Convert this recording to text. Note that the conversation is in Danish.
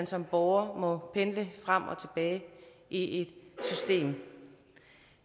som borger må pendle frem og tilbage i et system